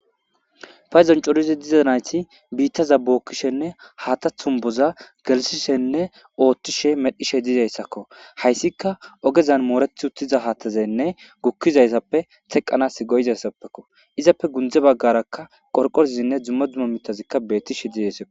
Payzon corizi dizanayti biittaza bookkishenne haata thumboza gelsishenne oothtishe medhishe diizayssakko hayssika ogezan moorethi uttiza haatazenne gukkizaysappe teqqanas goyizayssappekko izappe gundze baggarakka qorqorizinne dzumma dumo mitazikka beettishe diizaysao.